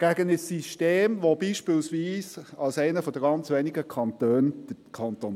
Gegen ein System, das beispielsweise der Kanton Zürich als einer der ganz wenigen Kantone kennt?